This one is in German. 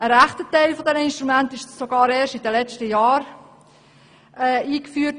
Ein grosser Teil dieser Instrumente wurde sogar erst in den letzten Jahren eingeführt.